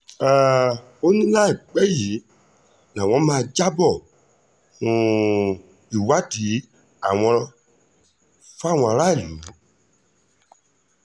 um ó ní láìpẹ́ yìí làwọn máa jábọ́ um ìwádìí àwọn fáwọn aráàlú